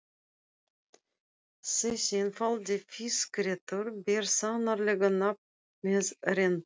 Þessi einfaldi fiskréttur ber sannarlega nafn með rentu.